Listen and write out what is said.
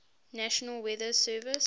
national weather service